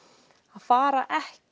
að fara ekki